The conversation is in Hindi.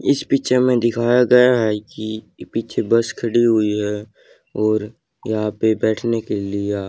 इस पिक्चर में दिखाया गया है कि पीछे बस खड़ी हुई है और यहां पे बैठने के लिआ--